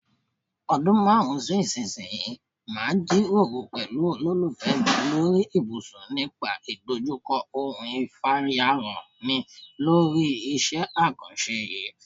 O̩dún márùn-ún sí ìsinyìí màá jíròrò pè̩lú olólùfé̩ mi lórí ibùsùn nípa ìdojúko̩ òun ìfàyàrán mi lórí is̩é̩ àkàns̩e yìí.